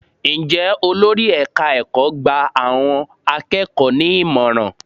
Ǹjẹ́ olórí ẹ̀ka ẹ̀kọ́ gba àwọn akẹ́kọ̀ọ́ ní ìmọ̀ràn?